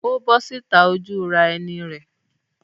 Ó bọ́ síta ojúuran-ẹni rẹ̀?